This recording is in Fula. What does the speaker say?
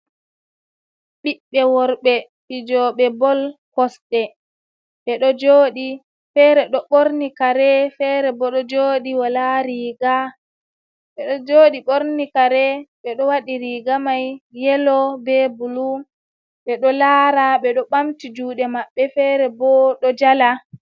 Ɓiɓɓe worɓe fijooɓe bol kosɗe ɓe ɗo jooɗi feere ɗo ɓorni kare ,feere bo ɗo jooɗi wala riiga. Ɓe ɗo jooɗi ɓorni kare, ɓe ɗo waɗi riiga may yelo be bulu .Ɓe ɗo laara, ɓe ɗo ɓamti juuɗe maɓɓe, feere bo ɗo jala.